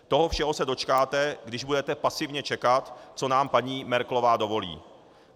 Toho všeho se dočkáte, když budete pasivně čekat, co nám paní Merkelová dovolí.